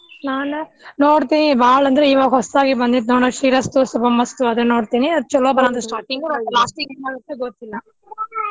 ನಾನ್ ನೋಡ್ತೇನಿ ಬಾಳ್ ಅಂದ್ರ ಇವಾಗ್ ಹೊಸ್ದಾಗಿ ಬಂದೇತ್ ನೋಡ್ ಶ್ರೀರಸ್ತು ಶುಭಮಸ್ತು ಅದ್ನ ನೋಡ್ತೇನಿ ಅದ್ ಚಲೋ ಬಂದ್ರ starting last ಗ ಏನ್ ಮಾಡ್ಬೇಕ್ ಗೊತ್ತಿಲ್ಲ.